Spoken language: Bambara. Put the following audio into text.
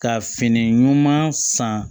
Ka fini ɲuman san